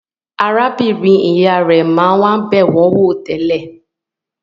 Arábìnrin-ìyá rẹ̀ máa ń wá bẹ̀ wọ́n wò tẹ́lẹ̀.